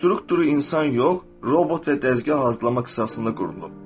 Strukturu insan yox, robot və dəzgah hazırlama qisasında qurulub.